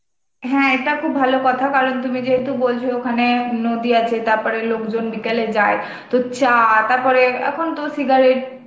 হ্যাঁ, এটা খুব ভালো কথা কারণ তুমি যেহেতু বলছো ওখানে নদী আছে, তারপরে লোকজন বিকালে যায়, তো চা~ তারপরে এখন তো cigarette